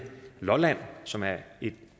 lolland som er et